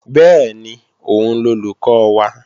Bẹ́ẹ̀ni, òun lolùkọ́ wa